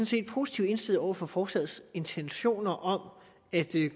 set positivt indstillet over for forslagets intentioner om at